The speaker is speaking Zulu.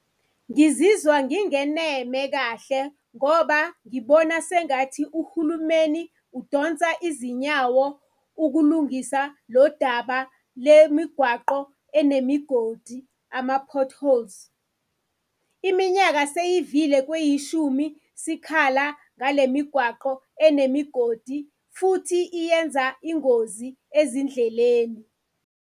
Ngizizwa ngingeneme kahle ngoba ngibona sengathi uhulumeni udonsa izinyawo ukulungisa lo daba lemigwaqo enemigodi, ama-potholes. Iminyaka seyivile kweyishumi sikhala ngale migwaqo enemigodi futhi iyenza ingozi ezindleleni.